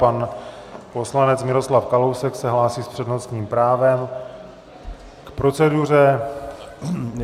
Pan poslanec Miroslav Kalousek se hlásí s přednostním právem k proceduře.